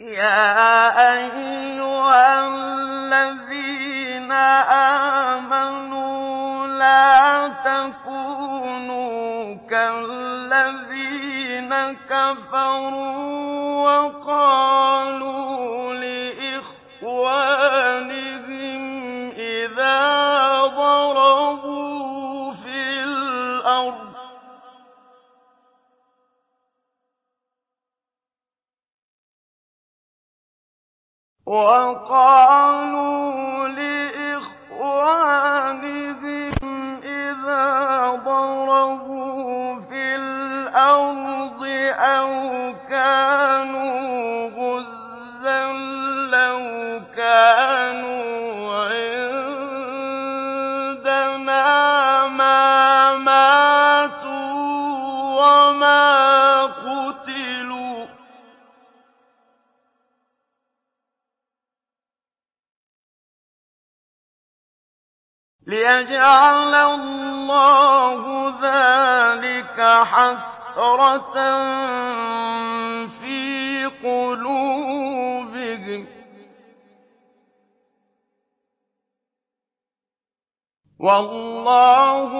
يَا أَيُّهَا الَّذِينَ آمَنُوا لَا تَكُونُوا كَالَّذِينَ كَفَرُوا وَقَالُوا لِإِخْوَانِهِمْ إِذَا ضَرَبُوا فِي الْأَرْضِ أَوْ كَانُوا غُزًّى لَّوْ كَانُوا عِندَنَا مَا مَاتُوا وَمَا قُتِلُوا لِيَجْعَلَ اللَّهُ ذَٰلِكَ حَسْرَةً فِي قُلُوبِهِمْ ۗ وَاللَّهُ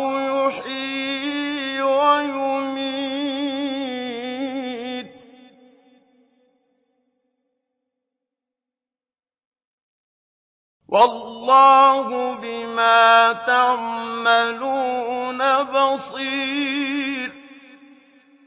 يُحْيِي وَيُمِيتُ ۗ وَاللَّهُ بِمَا تَعْمَلُونَ بَصِيرٌ